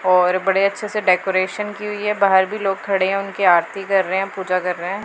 और बड़े अच्छे से डेकोरेशन की हुई है। बाहर भी लोग खड़े हैं उनकी आरती कर रहे हैं पूजा कर रहे हैं।